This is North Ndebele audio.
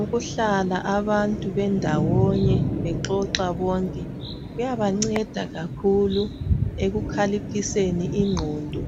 Ukuhlala abantu bendawone bexoxa bonke kuyaba nceda kakhulu ekukhaliphiseni inqondo